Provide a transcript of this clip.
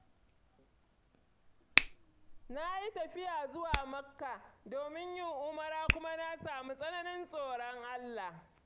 Na yi tafiya zuwa Makka domin yin Umrah kuma na samu tsananin tsoron Allah.